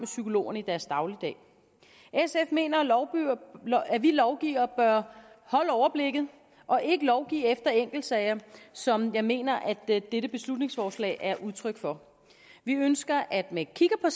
psykologerne i deres dagligdag sf mener at vi lovgivere bør holde overblikket og ikke lovgive af enkeltsager som jeg mener at dette dette beslutningsforslag er udtryk for vi ønsker at vi kigger